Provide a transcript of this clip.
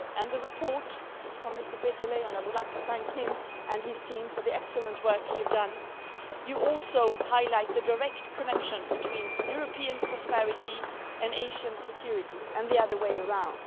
The report by Mr Peterle and I would like to thank him and his team for the excellent work they have done also highlights the direct connection between European prosperity and Asian security, and the other way around.